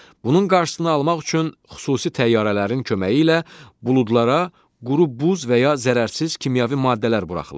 Bunun qarşısını almaq üçün xüsusi təyyarələrin köməyi ilə buludlara quru buz və ya zərərsiz kimyəvi maddələr buraxılır.